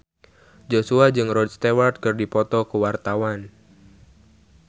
Joshua jeung Rod Stewart keur dipoto ku wartawan